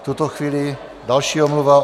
V tuto chvíli další omluva.